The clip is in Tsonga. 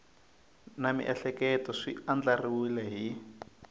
na miehleketo swi andlariwile hi